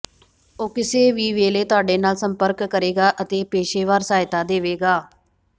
ਉਹ ਕਿਸੇ ਵੀ ਵੇਲੇ ਤੁਹਾਡੇ ਨਾਲ ਸੰਪਰਕ ਕਰੇਗਾ ਅਤੇ ਪੇਸ਼ੇਵਰ ਸਹਾਇਤਾ ਦੇਵੇਗਾ